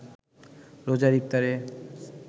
রোজার ইফতারে